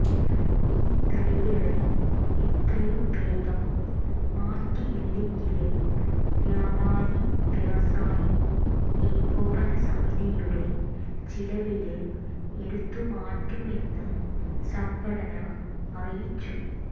E തടികള് എത്രയും വേഗം മാറ്റിയില്ലങ്കില് വ്യാപാരി വ്യവസായി ഏകോപനസമിതിയുടെ ചിലവില് എടുത്തുമാറ്റുമെന്ന് സംഘടന അറിയിച്ചു